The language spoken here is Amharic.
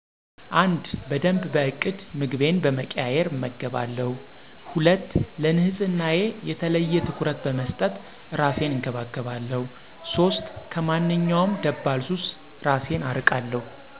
፩) በደንብ በእቅድ ምግቤን በመቀያየር እመገባለሁ። ፪) ለንጽህናየ የተለየ ትኩረት በመስጠት እራሴን እንከባከባለሁ። ፫) ከማንኛውም ደባል ሱስ እራሴን አርቃለሁ።